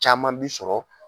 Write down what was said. Caman b'i sɔrɔ